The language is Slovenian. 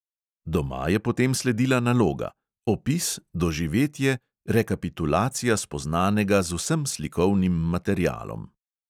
Doma je potem sledila naloga – opis, doživetje, rekapitulacija spoznanega z vsem slikovnim materialom.